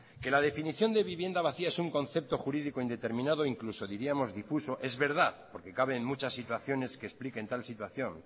que la definición de vivienda vacía es un concepto jurídico indeterminado incluso diríamos difuso es verdad porque cabe en muchas situaciones que expliquen tal situación